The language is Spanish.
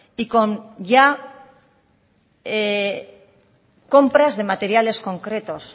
y con ya compras de materiales concretos